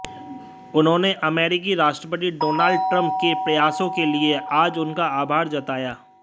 उन्होंने अमेरिकी राष्ट्रपति डोनाल्ड ट्रंप के प्रयासों के लिए आज उनका आभार जताया